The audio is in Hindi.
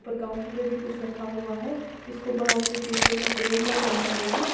और काउंटर पे भी कुछ रखा हुआ है इसको बाहर से शीशे का फ्रेम बनाया हुआ है।